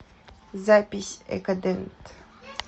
запись экодент